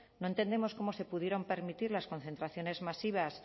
no entendemos cómo se pudieron permitir las concentraciones masivas